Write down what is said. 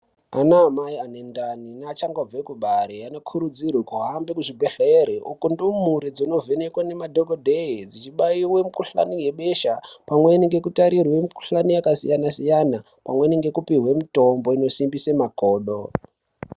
Anamai anendani neachangobve kubara anokurudzirwa kuhambe muzvibhedhleya uku ndumure dzonovhenekwe nemadhokodheya dzclichibayiwe mukuhlani yebesha pamweni ngekutarirwe mikuhlani yakasiyana siyana pamweni ngekupihwe mitombo inosimbise makodo.